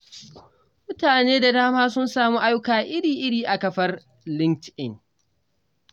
Mutane da dama sun samu ayyuka iri-iri a kafar LinkedIn.